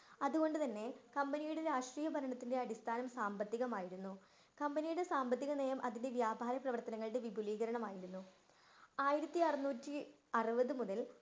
അതുകൊണ്ട് തന്നെ കമ്പനിയുടെ രാഷ്ട്രീയ ഭരണത്തിന്റെ അടിസ്ഥാനം സാമ്പത്തികമായിരുന്നു. കമ്പനിയുടെ സാമ്പത്തിക നയം അതിന്റെ വ്യാപാര പ്രവർത്തനങ്ങളുടെ വിപുലീകരണമായിരുന്നു. ആയിരത്തിഅറുനൂറ്റി അറുപത് മുതൽ